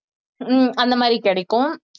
ஹம் அந்த மாதிரி கிடைக்கும்